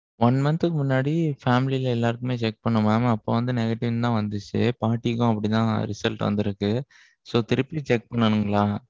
one month க்கு முன்னாடி family ல எல்லாருக்குமே check பண்ணோம் mam. அப்போ வந்து negative னு தான் வந்திச்சி. பாட்டிக்கும் அப்படி தான் result தான் வந்திருக்கு. so திருப்பியும் check பண்ணனுங்களா?